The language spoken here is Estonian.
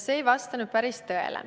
See ei vasta päris tõele.